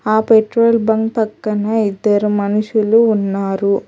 ఆ petrol bunk పక్కనే ఇద్దరు మనుషులు ఉన్నారు.